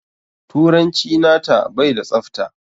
Turanci nata bai da tsafta.